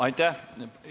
Aitäh!